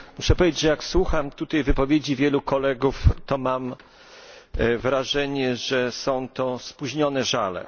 Muszę powiedzieć, że jak słucham tutaj wypowiedzi wielu kolegów, to mam wrażenie, że są to spóźnione żale.